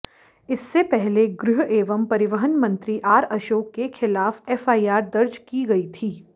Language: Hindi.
इससे पहले गृह एवं परिवहन मंत्री आर अशोक के खिलाफ एफआईआर दर्ज की गई थी